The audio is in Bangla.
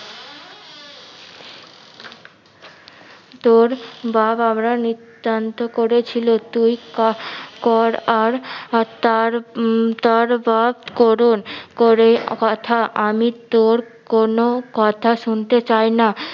তোর বা বাপরা নিত্তান্ত করেছিল তুই কর আর আর উম তার তার বাপ্ করণ করে কথা আমি তোর কোনো কথা শুনতে চাই না